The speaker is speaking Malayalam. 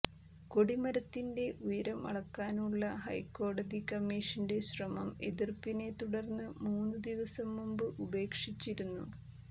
കൊടിമരത്തിന്റെ ഉയരം അളക്കാനുള്ള ഹൈക്കോടതി കമ്മീഷന്റെ ശ്രമം എതിര്പ്പിനെ തുടര്ന്ന് മൂന്നുദിവസം മുമ്പ് ഉപേക്ഷിച്ചിരുന്നു